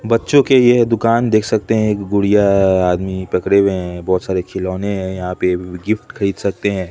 बच्चों की यह दुकान देख सकते है एक गुड़िया है आदमी पकड़े हुए है बहोत सारे खिलौने है यहां पे गिफ्ट खरीद सकते है।